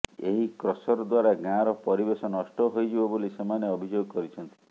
ଏହି କ୍ରସର ଦ୍ୱାରା ଗାଁର ପରିବେଶ ନଷ୍ଟ ହୋଇଯିବ ବୋଲି ସେମାନେ ଅଭିଯୋଗ କରିଛନ୍ତି